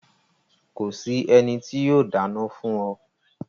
Ko sì ènì tó yóò dána fún o